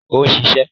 O ń ṣiṣẹ́.